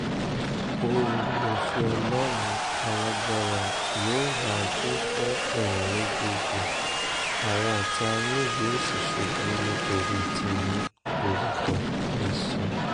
oore-ọ̀fẹ́ ọlọ́run alágbára yóò máa tó fún ẹ̀yin méjèèjì àwọn ọ̀tá yín yóò sì ṣubú nítorí tiyín lórúkọ jésù